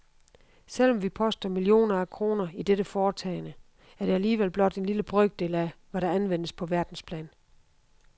Selvom vi poster millioner af kroner i dette foretagende, er det alligevel blot en lille brøkdel af, hvad der anvendes på verdensplan.